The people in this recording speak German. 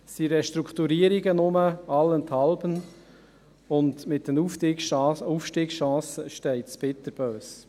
Es gehen allenthalben Restrukturierungen um, und um die Aufstiegschancen steht es bitterböse.